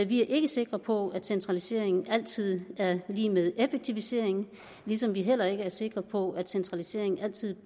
vi er ikke sikre på at centralisering altid er lig med effektivisering ligesom vi heller ikke er sikre på at centralisering altid